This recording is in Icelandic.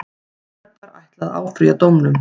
Serbar ætla að áfrýja dómnum.